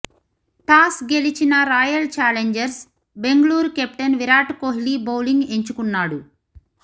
toss గెలిచిన Royal Challengers Bengaluru captain Virat Kohli bowling ఎంచుకున్నాడు